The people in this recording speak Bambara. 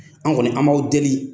An kɔni an b'aw deli